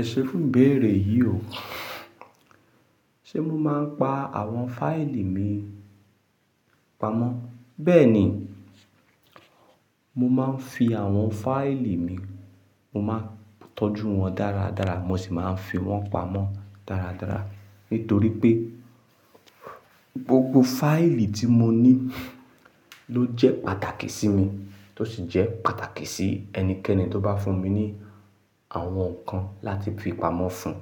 Ẹṣe fún ìbéèrè yìí o. Ṣé mo máa ń pa àwọn fáìlì mi pamọ́? Bẹ́ẹ̀ ni, mo máa ń fi àwọn fáìlì mi, mo máa ń tọ́jú wọn dáradára, mo sì máa ń fi wọ́n pamọ́ dáradára. Nítorí pé gbogbo fáìlì tí mo ní ló jẹ́ pàtàkì sí mi, tó sì jẹ́ pàtàkì sí ẹnikẹ́ni tó bá fún mi ní àwọn nǹkan láti fi pamọ́ fún un.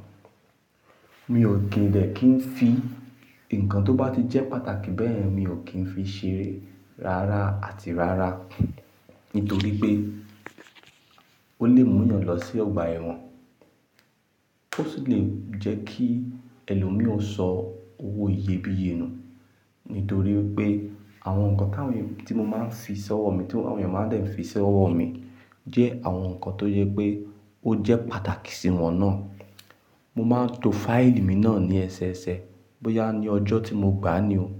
Mi ò kì í dẹ̀ kí n fi ǹkan tó bá ti jẹ́ pàtàkì bẹ́ẹ̀ yen mi ò kí ń fi ṣeré rárá àti rárá. Nítorí pé ó lè mú eeyàn lọ sí ọgbà ẹ̀wọ̀n, ó sì lè jẹ́ kí ẹlòmí ò sọ owó iyebíye nù. Nítorí pé àwọn nǹkan tí mo máa ń fi sí ọwọ́ mi tí àwọn ènìyàn máa ń dẹ̀ fi sí ọwọ́ mi jẹ́ àwọn nǹkan tó yẹ pé ó jẹ́ pàtàkì sí wọn náà. Mo máa ń to fáìlì mi náà ní ẹsẹẹsẹ, bóyá ní ọjọ́ tí mo gbá á ni o,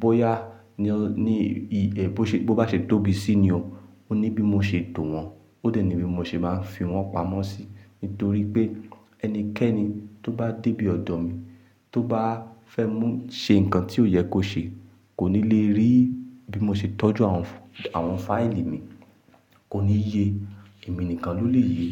bóyá ní bó bá ṣe tóbi sí i ni o. Ó ní bí mo ṣe tò wọ́n, ó dẹ̀ ní bí mo ṣe máa ń fi wọ́n pamọ́ sí. Nítorí pé ẹnikẹ́ni tó bá débí ọ̀dọ̀ mi tó bá fẹ́ mú ṣe ǹkan tí kó yẹ kó ṣe kò ní lè rí bí mo ṣe tọ́jú àwọn, àwọn fáìlì mi, kò ní ye, èmi nìkan ló lè ye.